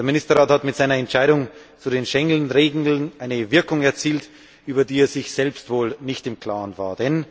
Der Ministerrat hat mit seiner Entscheidung zu den Schengenregeln eine Wirkung erzielt, über die er sich selbst wohl nicht im Klaren war.